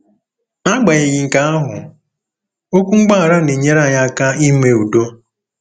N'agbanyeghị nke ahụ, okwu mgbaghara na-enyere anyị aka ime udo.